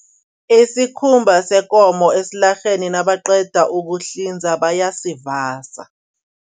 Isikhumba sekomo esilarheni nabaqeda ukuhlinza bayasivasa.